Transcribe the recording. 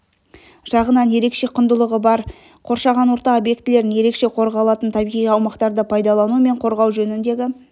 жағынан ерекше құндылығы бар қоршаған орта объектілерін ерекше қорғалатын табиғи аумақтарды пайдалану мен қорғау жөніндегі